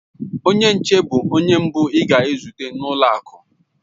Onye nche bụ onye mbụ ị ga-ahụ na ụlọ akụ.